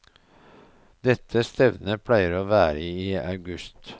Dette stevnet pleier å være i august.